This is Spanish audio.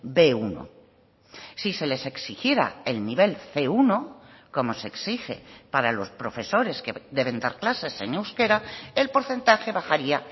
be uno si se les exigiera el nivel ce uno como se exige para los profesores que deben dar clases en euskera el porcentaje bajaría